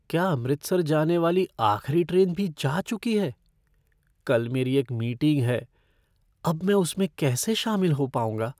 क्या अमृतसर जाने वाली आखिरी ट्रेन भी जा चुकी है? कल मेरी एक मीटिंग है, अब मैं उसमें कैसे शामिल हो पाऊंगा?